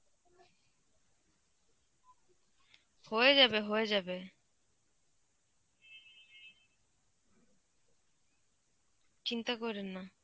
হয়ে যাবে হয়ে যাবে, চিন্তা কইরেন না.